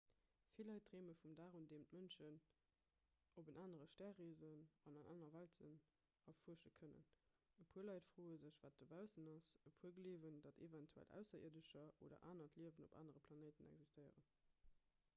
vill leit dreeme vum dag un deem d'mënschen op en anere stär reesen an aner welten erfuersche kënnen e puer leit froe sech wat dobaussen ass e puer gleewen datt eventuell ausserierdescher oder anert liewen op anere planéite existéieren